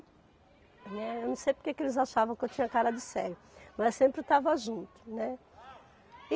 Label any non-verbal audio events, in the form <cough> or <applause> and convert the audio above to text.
<unintelligible> Eu não sei porque que eles achavam que eu tinha cara de sério, mas sempre estava junto, né.